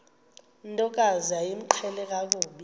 ntokazi yayimqhele kakhulu